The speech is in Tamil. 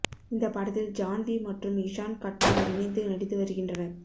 இந்த படத்தில் ஜான்வி மற்றும் இஷான் கட்டார் இணைந்து நடித்து வருகின்றனர்